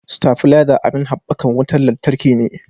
Stafileza abin habbakan wutan lantarki ne